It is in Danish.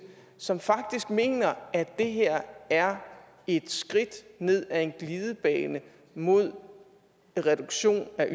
som faktisk mener at det her er et skridt ned ad en glidebane mod en reduktion af